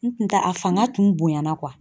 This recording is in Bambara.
N tun ta a fanga tun bonya na